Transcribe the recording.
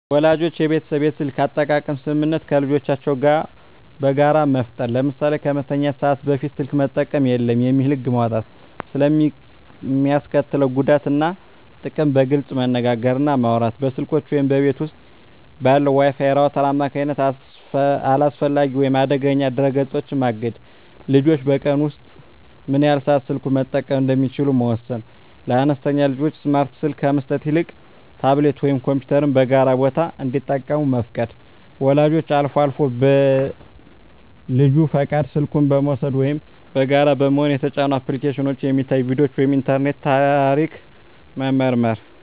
ወላጆች የቤተሰብ የስልክ አጠቃቀም ስምምነት ከልጆቻቸው ጋር በጋራ መፍጠር። ለምሳሌ "ከመተኛት ሰዓት በፊት ስልክ መጠቀም የለም" የሚል ህግ መውጣት። ስለ ሚስከትለው ጉዳት እና ጥቅም በግልፅ መነጋገር እና ማውራት። በስልኮች ወይም በቤት ውስጥ ባለው የWi-Fi ራውተር አማካኝነት አላስፈላጊ ወይም አደገኛ ድረ-ገጾችን ማገድ። ልጆች በቀን ውስጥ ምን ያህል ሰዓት ስልኩን መጠቀም እንደሚችሉ መወሰን። ለአነስተኛ ልጆች ስማርት ስልክ ከመስጠት ይልቅ ታብሌት ወይም ኮምፒውተርን በጋራ ቦታ እንዲጠቀሙ መፍቀድ። ወላጆች አልፎ አልፎ በልጁ ፈቃድ ስልኩን በመውሰድ (ወይም በጋራ በመሆን) የተጫኑ አፕሊኬሽኖች፣ የሚታዩ ቪዲዮዎች ወይም የኢንተርኔት ታሪክ መመርመር።